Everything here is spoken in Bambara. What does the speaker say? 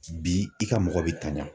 Bi i ka mɔgɔ bɛ tanya.